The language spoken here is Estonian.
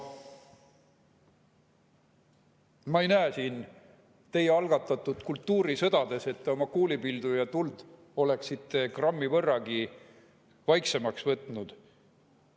Ma ei näe teie algatatud kultuurisõdades, et te oma kuulipildujatuld oleksite grammi võrragi vaiksemaks võtnud.